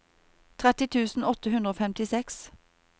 tretti tusen åtte hundre og femtiseks